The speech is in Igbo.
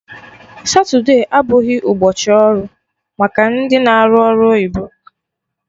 Satude abụghị ụbọchị ọrụ maka ndị na-arụ ọrụ oyibo